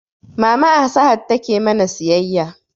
Mama a sahad take mana siyayya